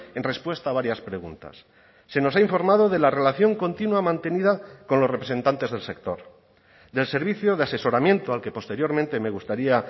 en respuesta a varias preguntas se nos ha informado de la relación continua mantenida con los representantes del sector del servicio de asesoramiento al que posteriormente me gustaría